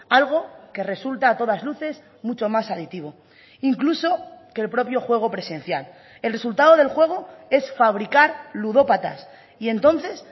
algo que resulta a todas luces mucho más adictivo incluso que el propio juego presencial el resultado del juego es fabricar ludópatas y entonces